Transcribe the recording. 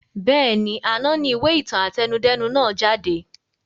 Bẹ́ẹ̀ni, àná ni ìwé ìtàn àtẹnudẹ́nu nàá jáde